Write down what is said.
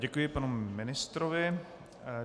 Děkuji panu ministrovi.